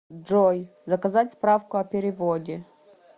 джой заказать справку о переводе